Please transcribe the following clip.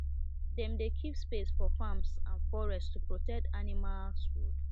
dem dey keep space for farms and forest to protect animals road